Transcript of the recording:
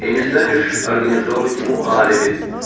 и не станешь организовывать ему алиби